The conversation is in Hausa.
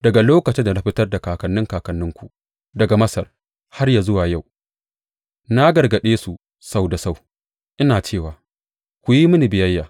Daga lokacin da na fitar da kakanni kakanninku daga Masar har yă zuwa yau, na gargaɗe su sau da sau, ina cewa, Ku yi mini biyayya.